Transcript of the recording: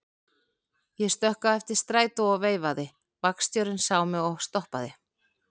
Ég stökk á eftir strætó og veifaði, vagnstjórinn sá mig og stoppaði.